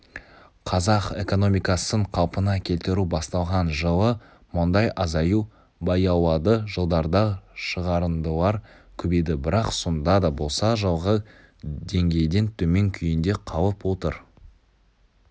қазақ экономикасын қалпына келтіру басталған жылы мұндай азаю баяулады жылдарда шығарындылар көбейді бірақ сонда да болса жылғы деңгейден төмен күйінде қалып отыр